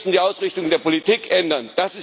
Sie müssen die Ausrichtung der Politik ändern.